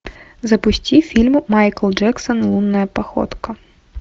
запусти фильм майкл джексон лунная походка